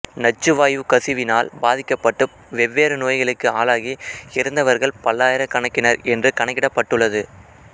நச்சுவாயுக் கசிவால் பாதிக்கப்பட்டு வெவ்வேறு நோய்களுக்கு ஆளாகி இறந்தவர்கள் பல்லாயிரக் கணக்கினர் என்று கணிக்கப்பட்டுள்ளது